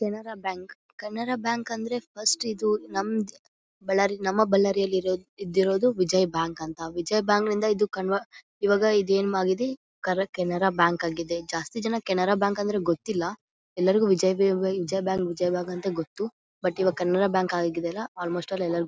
Canara bank Canara bank ಅಂದ್ರೆ first ಇದು ನಮ್ಮದ್ ಬಳ್ಳಾರಿ ನಮ್ಮ ಬಳ್ಳಾರಿ ಇರೋದ ಇದ್ದಿರೋದ್ ವಿಜಯ ಬ್ಯಾಂಕ್ ಅಂತ ವಿಜಯ ಬ್ಯಾಂಕ್ ನಿಂದ ಇದು ಕನರ್ವಟ ಇವಾಗ ಇದು ಏನಾಗಿದೆ ಕರ್ ಕೆನರಾ ಬ್ಯಾಂಕ್ ಆಗಿದೆ ಜಾಸ್ತಿ ಜನ ಕೆನರಾ ಬ್ಯಾಂಕ್ ಅಂದ್ರೆ ಗೊತ್ತಿಲ್ಲಾ ಎಲ್ಲರಿಗೂ ವಿಜಯ್ ವಿ_ವಿ ವಿಜಯ ಬ್ಯಾಂಕ್ ವಿಜಯ ಬ್ಯಾಂಕ್ ಅಂತ ಗೊತ್ತು ಬಟ್ ಈವಾಗ ಕೆನರಾ ಬ್ಯಾಂಕ್ ಆಗಿದೆ ಅಲ್ಲಾ ಆಲಮೊಸ್ಟ ಎಲ್ಲಾರಗೂ ಗೊ.